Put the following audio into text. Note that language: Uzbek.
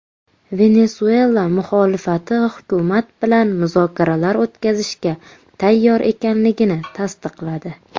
Venesuela muxolifati hukumat bilan muzokaralar o‘tkazishga tayyor ekanligini tasdiqladi.